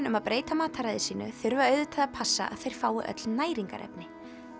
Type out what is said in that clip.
um að breyta mataræði sínu þurfa auðvitað að passa að þeir fái öll næringarefni